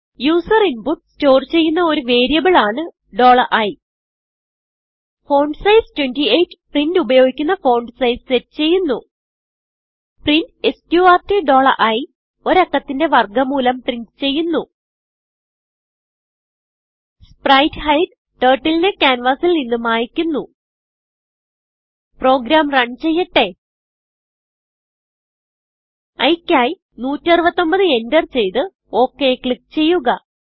user input store ചെയ്യുന്ന ഒരു variable ആണ് i ഫോണ്ട്സൈസ് 28 പ്രിന്റ് ഉപയോഗിക്കുന്ന ഫോണ്ട് sizeസെറ്റ് ചെയ്യുന്നു പ്രിന്റ് എസ്ക്യൂആർടി iഒരു അക്കത്തിന്റെ വർഗ മൂലം പ്രിന്റ് ചെയ്യുന്നു spritehideടർട്ടിൽ നെ ക്യാൻവാസിൽ നിന്ന് മായിക്കുന്നു പ്രോഗ്രാം റണ് ചെയ്യട്ടെ iയ്ക്കായി 169enterചെയ്ത് okക്ലിക്ക് ചെയ്യുക